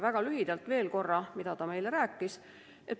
Väga lühidalt räägin veel korra, mida ta meile rääkis.